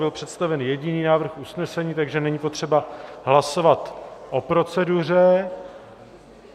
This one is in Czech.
Byl představen jediný návrh usnesení, takže není potřeba hlasovat o proceduře.